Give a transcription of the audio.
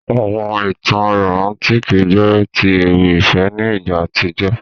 Àwọn ìtàn romantiki jẹ ti ewì ìfẹ́ ni ìgbà àtíjó.